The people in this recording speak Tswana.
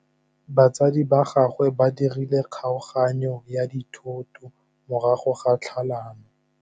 Batsadi ba gagwe ba dirile kgaoganyô ya dithoto morago ga tlhalanô.